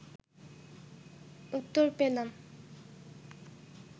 উত্তর পেলাম